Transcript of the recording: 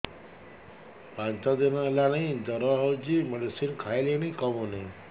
ପାଞ୍ଚ ଦିନ ହେଲାଣି ଜର ହଉଚି ମେଡିସିନ ଖାଇଲିଣି କମୁନି